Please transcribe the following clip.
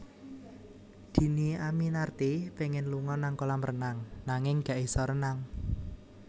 Dhini Aminarti pengen lunga nang kolam renang nanging gak iso renang